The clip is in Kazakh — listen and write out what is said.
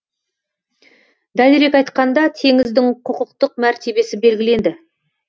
дәлірек айтқанда теңіздің құқықтық мәртебесі белгіленді